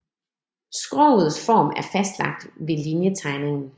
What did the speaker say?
Skrogets form er fastlagt ved linjetegningen